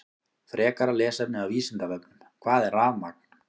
Frekara lesefni af Vísindavefnum: Hvað er rafmagn?